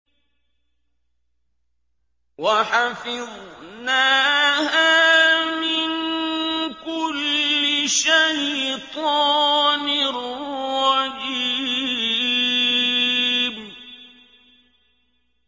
وَحَفِظْنَاهَا مِن كُلِّ شَيْطَانٍ رَّجِيمٍ